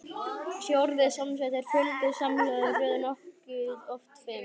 Sé orðið samsett er fjöldi samhljóða í röð nokkuð oft fimm.